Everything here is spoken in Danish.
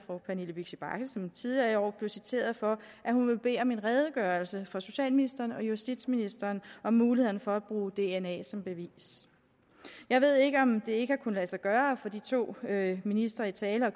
fru pernille vigsø bagge som tidligere i år blev citeret for at hun vil bede om en redegørelse fra socialministeren og justitsministeren om mulighederne for at bruge dna som bevis jeg ved ikke om det ikke har kunnet lade sig gøre at få de to ministre i tale